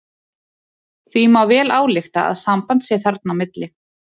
Því má vel álykta að samband sé þarna á milli.